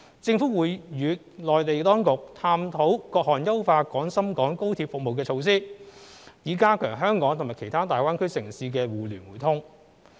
政府會與內地當局探討各項優化廣深港高鐵服務的措施，以加強香港與其他大灣區城市間的互聯互通。